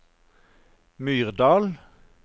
Myrdal